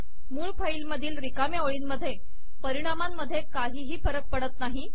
मूळ फाईल मधील रिकाम्या ओळींमुळे परिणामांमधे काहीही फरक पडत नाही